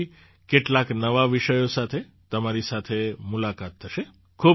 હવે પછી કેટલાક નવા વિષયો સાથે તમારી સાથે મુલાકાત થશે